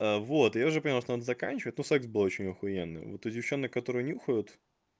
вот я уже понял что надо заканчивать ну секкс был очень ахуенный вот у девочек которые нюхают